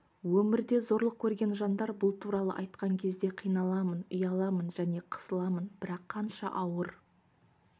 өмірде зорлық көрген жандар бұл туралы айтқан кезде қиналамын ұяламын және қысыламын бірақ қанша ауыр